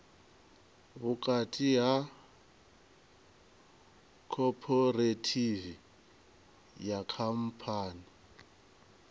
vhukati ha khophorethivi na khamphani